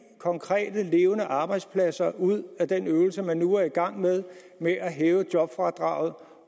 konkrete arbejdspladser ud af den øvelse man nu er i gang med med at hæve jobfradraget